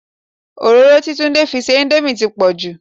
Òróró tí Tunde fi sí íńdómì ti pọ̀ jù.